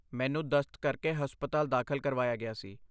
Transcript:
ਮੈਨੂੰ ਦਸਤ ਕਰਕੇ ਹਸਪਤਾਲ ਦਾਖਲ ਕਰਵਾਇਆ ਗਿਆ ਸੀ।